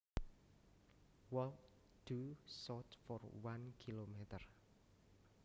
Walk due south for one kilometer